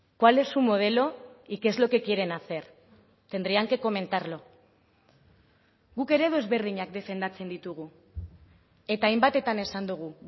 cuál es su modelo y qué es lo que quieren hacer tendrían que comentarlo guk eredu ezberdinak defendatzen ditugu eta hainbatetan esan dugu